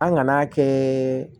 An ŋan'a kɛ